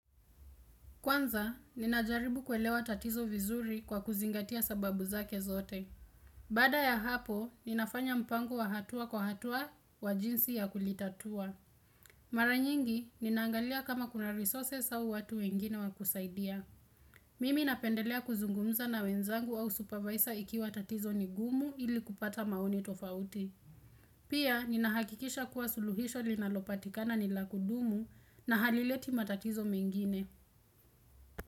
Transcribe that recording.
Kwanza, ninajaribu kuelewa tatizo vizuri kwa kuzingatia sababu zake zote. Baada ya hapo, ninafanya mpango wa hatua kwa hatua wa jinsi ya kulitatua. Mara nyingi, ninaangalia kama kuna resources au watu wengine wa kusaidia. Mimi napendelea kuzungumza na wenzangu au supervisor ikiwa tatizo ni gumu ili kupata maoni tofauti. Pia, ninahakikisha kuwa suluhisho linalopatikana ni la kudumu na halileti matatizo mengine.